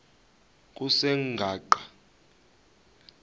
kusengwaqa